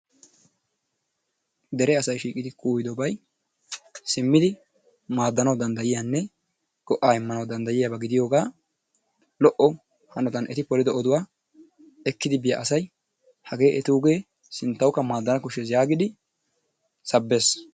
Dere asay shiiqidi kuuyidobay simmidi maaddanawu danddayiyanne go'aa immanawu danddayiyaba gidiyogaa lo"o hanotan eti polido yohuwa ekkidi asay hagee etuugee sinttawukka maaddanawu koshshees yaagidi sabbees.